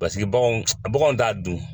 Pasiki baganw baganw t'a dun.